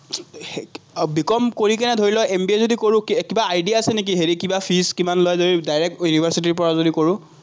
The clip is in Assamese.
বি কম কৰি কেনে ধৰি ল, এমবিয়ে যদি কৰোঁ, কিবা idea আছে নেকি হেৰি কিবা fees কিমান লয়, যদি university ৰপৰা যদি কৰোঁ?